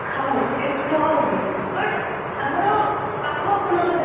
ଖାଉ ଏମିତି ଖୁଆଉ ବି but ଆମର ପାଖଆଖ ଲୋକ ଚାଖିଲେ